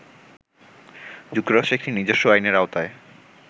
যুক্তরাষ্ট্র একটি নিজস্ব আইনের আওতায়